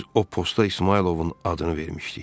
Biz o postda İsmayılovun adını vermişdik.